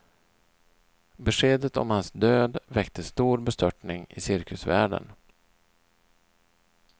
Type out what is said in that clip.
Beskedet om hans död väckte stor bestörtning i cirkusvärlden.